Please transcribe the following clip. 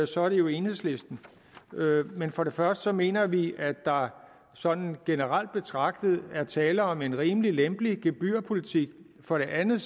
så er det jo enhedslisten men for det første mener vi at der sådan generelt betragtet er tale om en rimelig lempelig gebyrpolitik for det andet